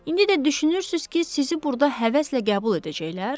İndi də düşünürsüz ki, sizi burda həvəslə qəbul edəcəklər?